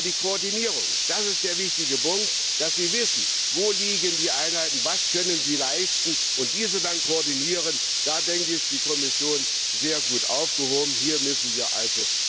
Aber bei der Koordinierung das ist der wichtige Punkt, dass Sie wissen, wo liegen die Einheiten, was können sie leisten, und diese dann koordinieren da ist die Kommission sehr gut aufgehoben, hier müssen wir